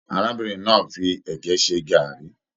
Arábìnrin náà fí ẹgẹ ṣe gàárì.